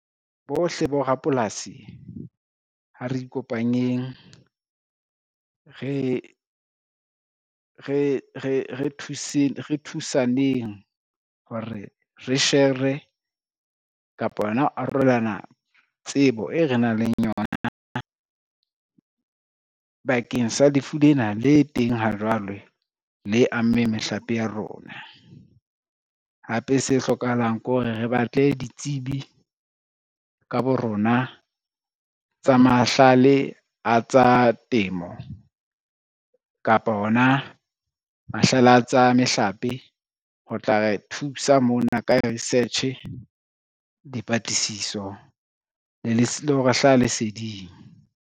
Bohle borapolasi ha re ikopanyeng re thusaneng hore shere, kapa hona ho arolelana tsebo e re nang le yona bakeng sa lefu lena le teng ha jwale le ammeng mehlape ya rona. Hape se hlokahalang ko re re batle ditsebi ka bo rona tsa mahlale a tsa temo, kapa hona mahlale a tsa mehlape, ho tla re thusa mona ka research, dipatlisiso le ho re hlaha leseding.